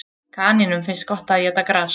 Kanínum finnst gott að éta gras.